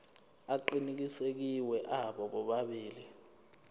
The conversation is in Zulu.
aqinisekisiwe abo bobabili